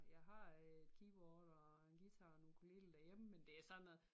Jeg har øh et keyboard og en guitar og en ukulele derhjemme men det er sådan noget